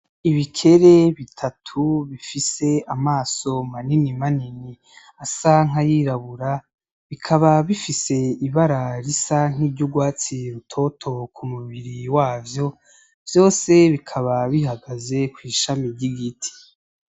Ibikere bitatu bifise amaso manini manini asa nk'ayirabura. Bikaba bifise ibara risa nk'iryurwatsi rutoto ku mubiri wavyo, vyose bikaba bihagaze kw'ishami ry'igiti.